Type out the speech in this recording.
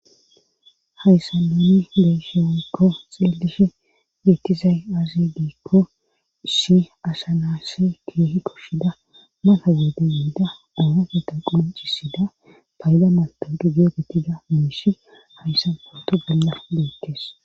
Hayssa nini leesheoykko xeelishi geetizay azi giekko ishi asha naasse keehi koshshida mata geede yeida oorageeta qoncisida payda mato digie getida miishi hayssa porto galla beekkees.